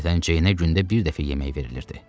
Adətən Ceynə gündə bir dəfə yemək verilirdi.